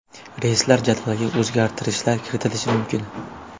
Reyslar jadvaliga o‘zgartishlar kiritilishi mumkin.